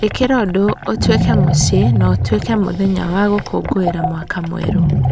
ĩkĩra ũndũ ũtuĩke mũciĩ na ũtuĩke mũthenya wa gũkũngũĩra Mwaka Mwerũ.